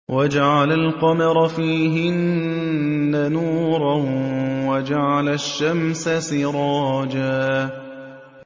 وَجَعَلَ الْقَمَرَ فِيهِنَّ نُورًا وَجَعَلَ الشَّمْسَ سِرَاجًا